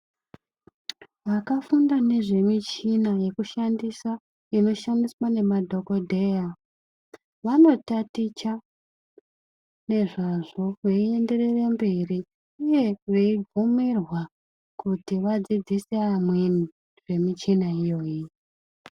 Vakafunda ngezvemuchina yekushandisa ,inoshandiswa ngemadhokodheya, vanotaticha ngezvazvo veienderere mberi ,uye ,veibvumirwa kuti vadzidzise amweni zvemuchina iyoyi.